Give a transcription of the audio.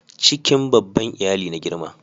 cikin babban iyali na girma